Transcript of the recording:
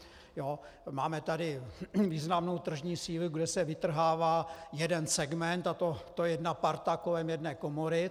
Máme tady významnou tržní sílu, kde se vytrhává jeden segment, a to jedna parta kolem jedné komory.